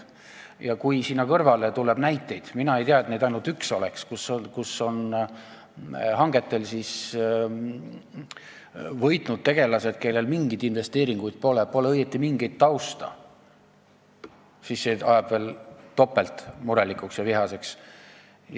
Ja kui sinna kõrvale tuleb näiteid – mina ei tea, et neid ainult üks oleks –, kus hangetel on võitnud tegelased, kellel pole mingeid investeeringuid ega õieti mingitki tausta, siis see ajab veel topelt murelikuks ja vihaseks.